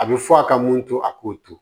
A bɛ fɔ a ka mun to a k'o to